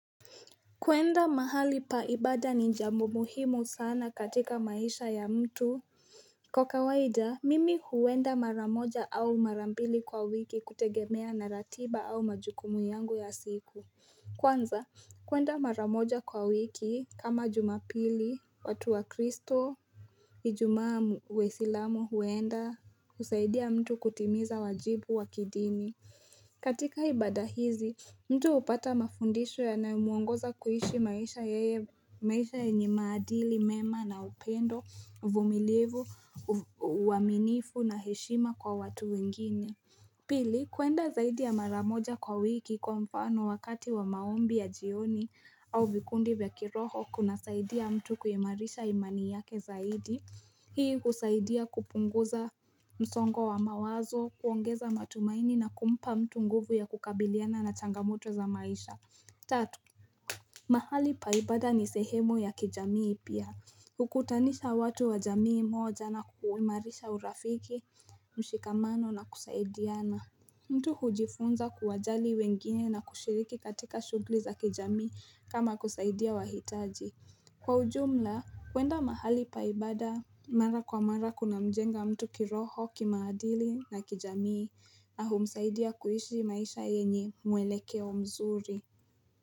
Kwenda mahali pa ibada ni jambo muhimu sana katika maisha ya mtu Kwa kawaida mimi huenda mara moja au mara pili kwa wiki kutegemea na ratiba au majukumu yangu ya siku Kwanza kwenda maramoja kwa wiki kama jumapili watu wa kristo Ijumaa mu waisilamu huenda husaidia mtu kutimiza wajibu wa kidini katika ibada hizi, mtu hupata mafundisho yanayomuongoza kuishi maisha yeye maisha yenye maadili, mema na upendo, vumilivu, uaminifu na heshima kwa watu wengine. Pili kwenda zaidi ya mara moja kwa wiki kwa mfano wakati wa maombi ya jioni au vikundi vya kiroho kunasaidia mtu kuimarisha imani yake zaidi Hii husaidia kupunguza msongo wa mawazo, kuongeza matumaini na kumpa mtu nguvu ya kukabiliana na changamoto za maisha Tatu mahali pa ibada ni sehemu ya kijamii pia Hukutanisha watu wa jamii moja na kuimarisha urafiki, mshikamano na kusaidiana mtu hujifunza kuwajali wengine na kushiriki katika shughuli za kijamii kama kusaidia wahitaji Kwa ujumla, kwenda mahali pa ibada mara kwa mara kuna mjenga mtu kiroho, kimaadili na kijamii na humsaidia kuishi maisha yenye mwelekeo mzuri.